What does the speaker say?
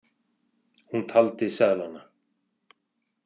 Hún taldi seðlana.